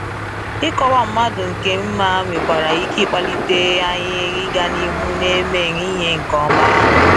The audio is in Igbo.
Ịkọwa mmadụ nke mma nwekwara ike kpalite anyị ịga n’ihu n'eme ihe nke ọma.